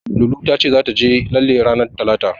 Lulu ta ce zata je lalle ranar Talata.